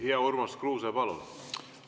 Hea Urmas Kruuse, palun!